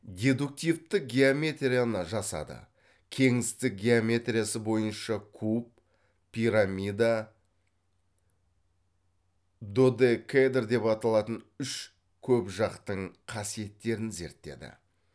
дедуктивтік геометрияны жасады кеңістік геометриясы бойынша куб пирамида додекэдр деп аталатын үш көпжақтың қасиеттерін зерттеді